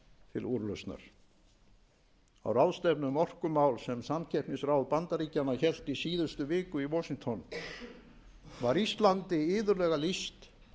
til úrlausnar á ráðstefnu um orkumál sem samkeppnisráð bandaríkjanna hélt í síðustu viku í washington var íslandi iðulega lýst